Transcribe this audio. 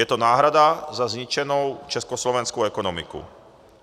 Je to náhrada za zničenou československou ekonomiku.